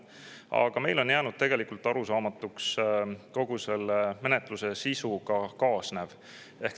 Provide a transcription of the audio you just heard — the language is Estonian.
Aga meile on jäänud arusaamatuks kogu selle menetluse sisuga kaasnev.